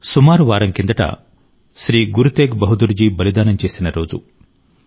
సుమారు వారం కిందట శ్రీ గురు తేగ్ బహదూర్ జి బలిదానం చేసిన రోజు